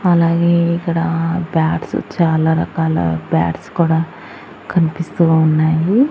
అలాగే ఇక్కడ బ్యాట్స్ చాలా రకాల బ్యాట్స్ కూడా కనిపిస్తూ ఉన్నాయి.